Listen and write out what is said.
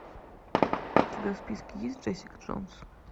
у тебя в списке есть джессика джонс